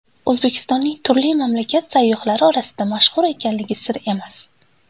O‘zbekistonning turli mamlakat sayyohlari orasida mashhur ekanligi sir emas.